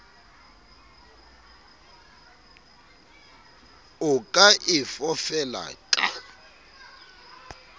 o ka e fofela ka